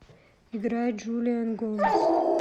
играй джулиан гомес